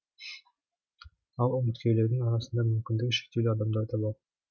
ал үміткерлердің арасында мүмкіндігі шектеулі адамдар да бар